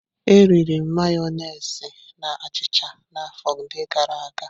Eriri m Mayonezi na achịcha na afọ ndi gara aga.